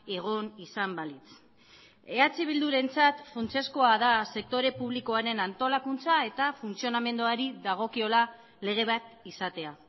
egon izan balitz eh bildurentzat funtsezkoa da sektore publikoaren antolakuntza eta funtzionamenduari dagokiola lege bat izatea